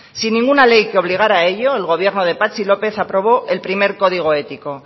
sin ninguna ley que obligara a ello el gobierno de patxi lópez aprobó el primer código ético